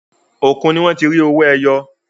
Òkun ní wọ́n ti rí owó ẹyọ.